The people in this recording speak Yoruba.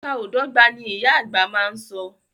Ìka o dọ́gba, ni ìyá àgbà má a so.